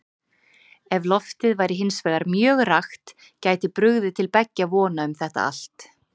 Ef loftið væri hins vegar mjög rakt gæti brugðið til beggja vona um þetta allt.